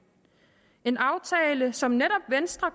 en aftale som netop venstre